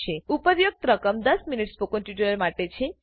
ઉપરોક્ત રકમ દસ મિનિટ સ્પોકન ટ્યુટોરીયલ માટે છે